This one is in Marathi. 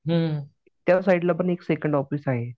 हं त्यसाईडला पण एक सेकंड ऑफिस आहे.